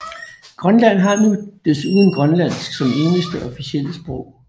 Grønland har nu desuden grønlandsk som eneste officielle sprog